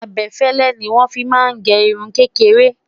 abefele ní wọn fí má gé irún kékeré